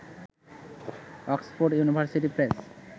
Oxford University press